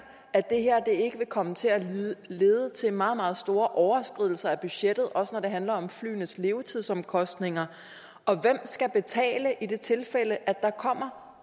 at det her ikke vil komme til at lede til meget meget store overskridelser af budgettet også når det handler om flyenes levetidsomkostninger og hvem skal betale i tilfælde af